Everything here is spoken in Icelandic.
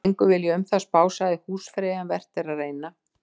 Engu vil ég um það spá, sagði húsfreyja, en vert er að reyna.